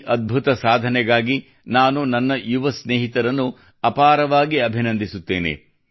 ಈ ಅದ್ಭುತ ಸಾಧನೆಗಾಗಿ ನಾನು ನನ್ನ ಯುವ ಸ್ನೇಹಿತರನ್ನು ಅಪಾರವಾಗಿ ಅಭಿನಂದಿಸುತ್ತೇನೆ